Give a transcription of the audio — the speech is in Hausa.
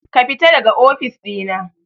Kafita daga ofis ɗina.